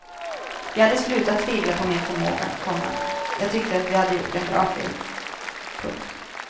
Jag hade slutat tvivla på min förmåga, komma jag tyckte vi hade gjort en bra film. punkt